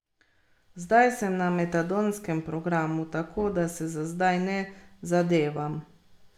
Zdaj sem na metadonskem programu, tako da se za zdaj ne zadevam.